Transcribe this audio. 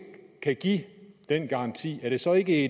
kan give den garanti er det så ikke